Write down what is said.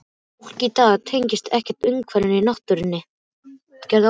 Fólk í dag tengist ekkert umhverfinu, náttúrunni.